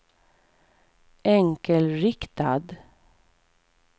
enkelriktad